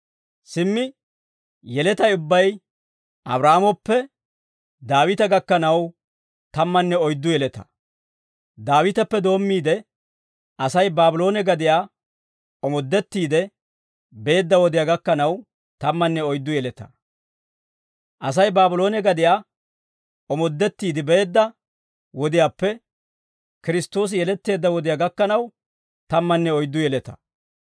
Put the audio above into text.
Simmi yeletay ubbay Abraahaamoppe Daawita gakkanaw tammanne oyddu yeletaa; Daawiteppe doommiide, Asay Baabloone gadiyaa omoddettiide beedda wodiyaa gakkanaw tammanne oyddu yeletaa; Asay Baabloone gadiyaa omoddettiide beedda wodiyaappe Kiristtoosi yeletteedda wodiyaa gakkanaw tammanne oyddu yeletaa.